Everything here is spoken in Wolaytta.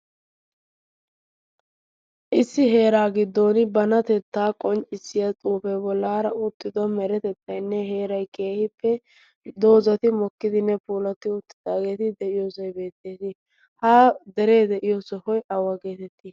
issi heera giddon banatetta qonccisssiya xuufe bollara uttido meretettaynne heeray keehippe doozati mokkidi puulati uttidaageeti de'iyoosay beettees. ha dere de'iyoo sohoy awa getetti?